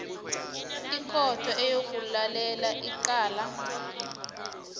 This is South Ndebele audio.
ikhotho eyokulalela icala